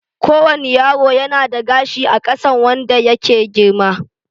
Ko wane yaro yana da gashi a kansa wanda yake girma